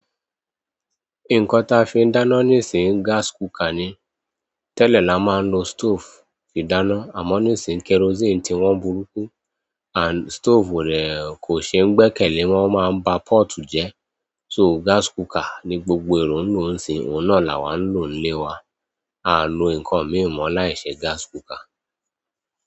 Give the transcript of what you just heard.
Nǹkan táa fi ń dáná níìsín gas cooker ni. Tẹ́lẹ̀ la máa ń lo stove fi dáná, àmọ́ níìsín kerosene tí wọ́n burúkú. And stove o dẹ kò ṣe ń gbẹ́kẹ̀lé wọ́n máa ń ba pot jẹ́. So gas cooker ni gbogbo èrò ń lò ń sin, òun náà làwà ń lò nílé wa. A o lo inkan mi mọ laise gas cooker.